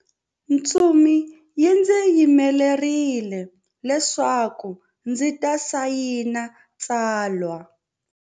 Ntsumi yi ndzi yimerile leswaku ndzi ta sayina tsalwa.